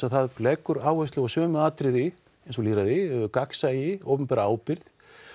það leggur áherslu á sömu atriði og lýðræði gagnsæi opinbera ábyrgð